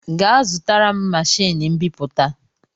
Gaa zụtara m machiini mbiputa!